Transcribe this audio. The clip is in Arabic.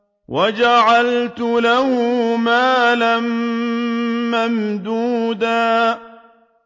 وَجَعَلْتُ لَهُ مَالًا مَّمْدُودًا